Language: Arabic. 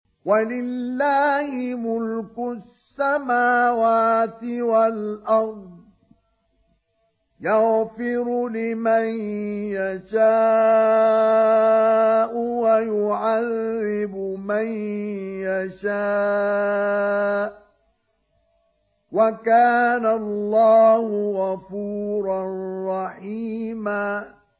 وَلِلَّهِ مُلْكُ السَّمَاوَاتِ وَالْأَرْضِ ۚ يَغْفِرُ لِمَن يَشَاءُ وَيُعَذِّبُ مَن يَشَاءُ ۚ وَكَانَ اللَّهُ غَفُورًا رَّحِيمًا